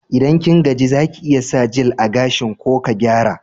Idan kin gaji, za ki iya sa jel a gashin ko ka gyara.